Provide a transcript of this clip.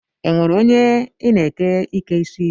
Enwere onye I na-eke ike isi?